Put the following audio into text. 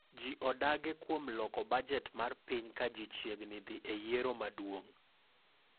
Ji odage kuom loko bajet mar piny ka ji chiegni dhi e yiero maduong'